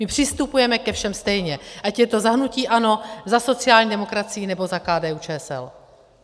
My přistupujeme ke všem stejně, ať je to za hnutí ANO, za sociální demokracii nebo za KDU-ČSL.